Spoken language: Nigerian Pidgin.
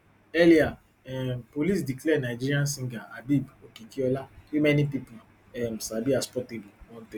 earlier um police declare nigerian singer habeeb okikiola wey many pipo um sabi as portable wanted